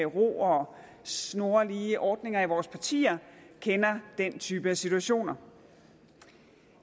ro og snorlige ordninger i vores partier kender den type situationer